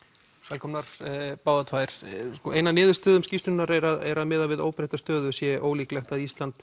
velkomnar ein af niðurstöðum skýrslunnar er að miðað við óbreytta stöðu sé ólíklegt að Ísland